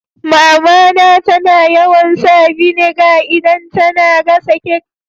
Mama na tana yawan sa vinegar idan tana gasa kek.